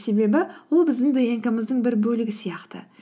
себебі ол біздің днк мыздың бір бөлігі сияқты